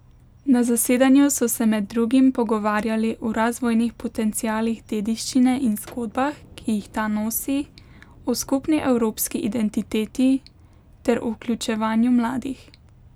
Na zasedanju so se med drugim pogovarjali o razvojnih potencialih dediščine in zgodbah, ki jih ta nosi, o skupni evropski identiteti ter o vključevanju mladih.